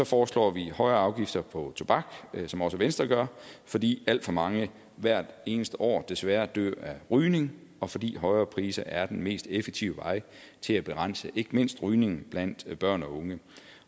foreslår vi højere afgifter på tobak som også venstre gør fordi alt for mange hvert eneste år desværre dør af rygning og fordi højere priser er den mest effektive vej til at begrænse ikke mindst rygning blandt børn og unge